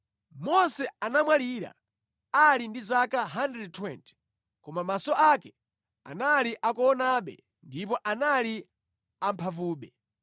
Mose anamwalira ali ndi zaka 120, koma maso ake ankaonabe ndipo anali amphamvu.